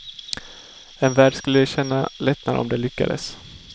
En värld skulle känna lättnad om det lyckades.